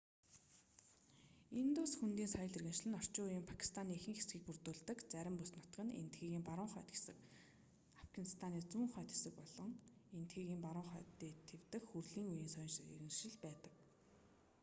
индус хөндийн соёл иргэншил нь орчин үеийн пакистаны ихэнх хэсгийг бүрдүүлдэг зарим бүс нутаг нь энэтхэгийн баруун хойд хэсэг афганистаны зүүн хойд хэсэг болсон энэтхэгийн баруун хойд дэд тив дэх хүрлийн үеийн соёл иргэншил байсан